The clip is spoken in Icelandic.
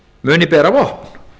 muni bera vopn